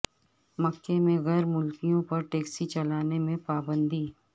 مکہ میں غیر ملکیوں پر ٹیکسی چلانے کی پابندی